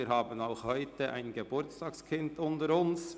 Wir haben auch heute ein Geburtstagskind unter uns.